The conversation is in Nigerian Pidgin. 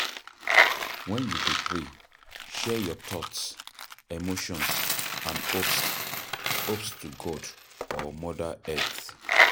When you dey pray, share your thought, emotions and hopes hopes to God or Mother Earth